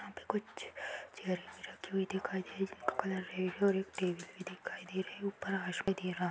यहाँ पे कुछ चेयरें रखी हुई दिखाई दे रही जिनका कलर रेड है और एक टेबल भी दिखाई दे रही ऊपर दे रहा।